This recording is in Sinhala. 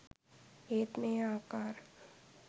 ඒත් මේ ආකාර